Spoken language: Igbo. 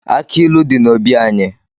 Aki ilu di n'obi anyị